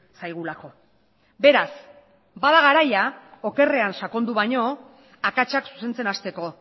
zaigulako beraz bada garaia okerrean sakondu baino akatsak zuzentzen hasteko